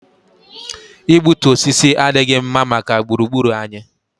Igbutu osisi adịghị mma maka gburu gburu anyị